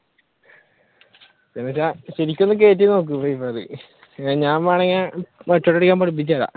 അന്നുവെച്ചാ ശെരികോന്ന് കേറ്റി നോക്ക് free fire ഞാൻ വേണെങ്കിൽ പഠിപ്പിച്ചുതരാം